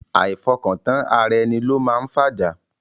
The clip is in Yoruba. Àìfọkọ̀tán ara ẹni ló máa ń fájá.